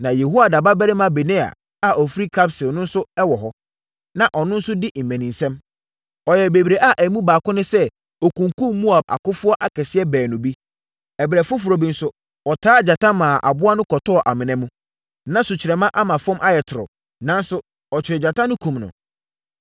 Na Yehoiada babarima Benaia a ɔfiri Kabseel no nso wɔ hɔ. Na ɔno nso di mmaninsɛm. Ɔyɛɛ bebree a emu baako ne sɛ ɔkunkumm Moab akofoɔ akɛseɛ baanu bi. Ɛberɛ foforɔ bi nso, ɔtaa gyata maa aboa no kɔtɔɔ amena mu. Na sukyerɛmma ama fam ayɛ toro, nanso, ɔkyeree gyata no kumm no.